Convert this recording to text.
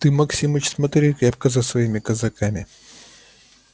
ты максимыч смотри крепко за своими казаками